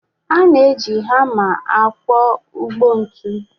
A na-eji hama akwọ ụgbọ ntu